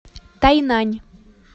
тайнань